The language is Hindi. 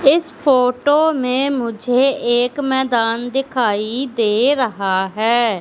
इस फोटो में मुझे एक मैदान दिखाई दे रहा है।